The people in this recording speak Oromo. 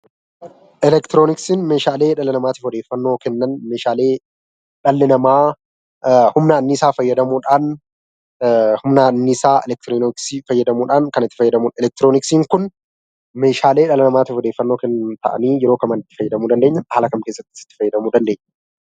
Elektirooniksiin meeshaalee dhala namaatiif odeeffannoo Kennan meeshaalee dhalli namaa anniisaa fayyadamuudhaan kan itti fayyadamudha. Elektirooniksiin kun meeshaalee odeeffannoo Kennan ta'anii yeroo Kamii fi haala kam keessatti itti fayyadamuu dandeenya?